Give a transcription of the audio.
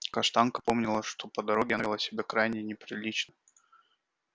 каштанка помнила что по дороге она вела себя крайне неприлично